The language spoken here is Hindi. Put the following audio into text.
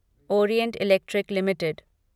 Orient Electric limited